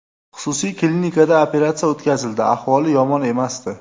Xususiy klinikida operatsiya o‘tkazildi, ahvoli yomon emasdi.